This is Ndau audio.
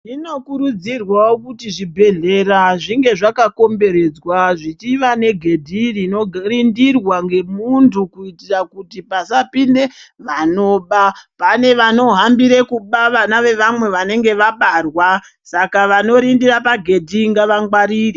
Zvinokurudzirwawo kuti zvibhedhlera zvinge zvakakomberedzwa zvichiva negedhi rinorindirwa ngemuntu kuitira kuti pasapinde vanoba. Pane vanohambire kuba vana vevamwe vanenge vabarwa, saka vanorindira pagedhi ngava ngwarire.